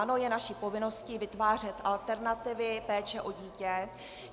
Ano, je naší povinností vytvářet alternativy péče o dítě.